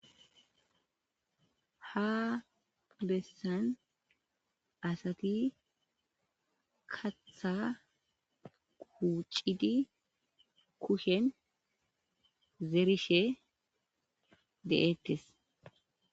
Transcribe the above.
ha bessan asati katha kuucidi kushen zeerishe de'ettes